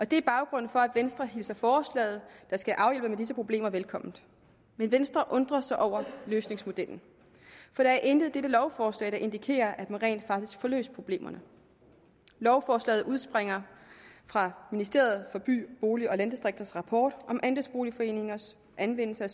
det er baggrunden for at venstre hilser forslaget der skal afhjælpe disse problemer velkommen men venstre undrer sig over løsningsmodellen for der er intet i dette lovforslag der indikerer at man rent faktisk får løst problemerne lovforslaget udspringer fra ministeriet for by bolig og landdistrikters rapport andelsboligforeningers anvendelse af